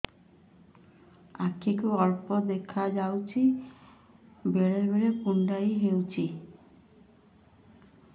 ଆଖି କୁ ଅଳ୍ପ ଦେଖା ଯାଉଛି ବେଳେ ବେଳେ କୁଣ୍ଡାଇ ହଉଛି